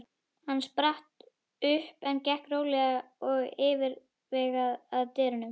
Hann spratt upp en gekk rólega og yfirvegað að dyrunum.